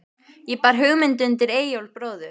Ég bar hugmynd undir Eyjólf bróður.